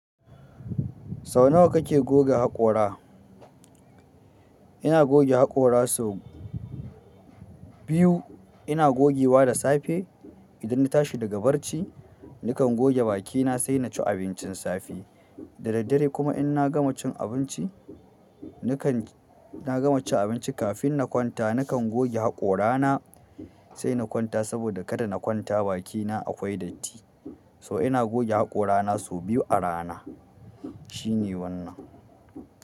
Sau nawa kake goge haƙora? Ina goge haƙora sau biyu. Ina gogewa da safe idan na tashi daga barci, nakan goge bakina sai na ci abincin safe. Da daddare kuma in na gama cin abinci, nakan na gama cin abinci kafin na kwanta, nakan goge haƙorana sai na kwanta saboda kada na kwanta bakina akwai datti. So ina goge haƙorana sau biyu a rana. Shine wannan.